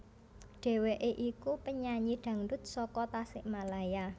Dheweké iku penyanyi dangdut saka Tasikmalaya